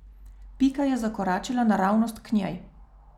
Pika je zakoračila naravnost k njej.